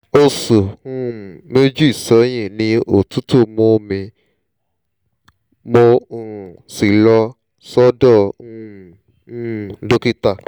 oṣù um méjì sẹ́yìn ni òtútù mú mi mo um sì lọ sọ́dọ̀ um um dókítà